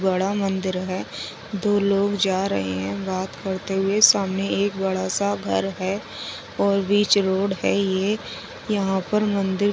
बड़ा मंदिर है दो लोग जा रहे है बात करते हुए सामने एक बड़ा सा घर है है और बिच रोड है ये यहाँ पर मंदिर के बा --